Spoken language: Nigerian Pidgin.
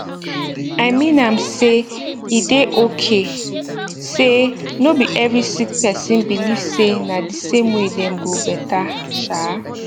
i mean am say e dey okay say no be every sick person believe say na d same way dem go better um